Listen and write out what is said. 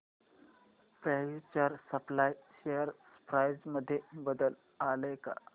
future supply share price मध्ये बदल आलाय का